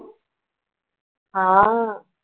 हां.